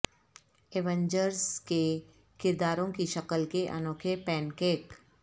Avengers کے کرداروں کی شکل کے انوکھے پین کیک